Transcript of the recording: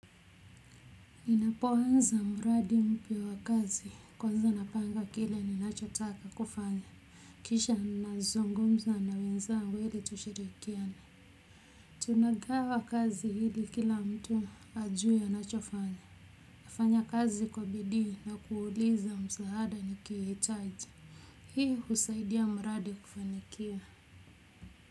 Ninapoanza mradi mpya wa kazi, kwanza napanga kile ninachotaka kufanya kisha ninazungumza na wenzagu ili tushirikiane tuna gawa kazi ili kila mtu ajue anacho fanya. Nafanya kazi kwa bidii na kuuliza msaada nikihitaji hii husaidia mradi kufanikia.